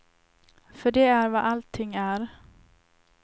För det är vad allting är.